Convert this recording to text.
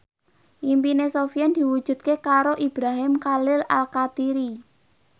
impine Sofyan diwujudke karo Ibrahim Khalil Alkatiri